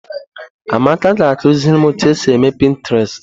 Amaka ga akụziri m otu esi eme pịntrestị.